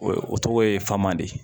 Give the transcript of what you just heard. O ye o tɔgɔ ye faman de